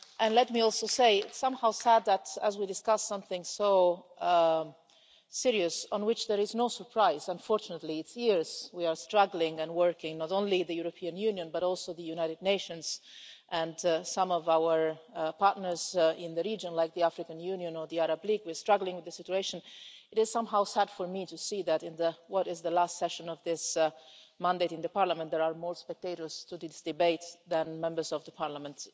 Let me also say it is somehow sad that as we discuss something so serious on which there is no surprise unfortunately for years now we have been struggling and working, not only the European Union, but also the United Nations and some of our partners in the region like the African Union or the Arab League, we have been struggling with the situation it is somehow sad for me to see that in what is the last part session of this mandate in Parliament there are more spectators at these debates than Members of the Parliament.